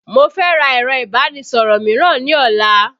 Mo fẹ́ ra ẹ̀rọ ìbánisọ̀rọ̀ mìíràn ní ọ̀la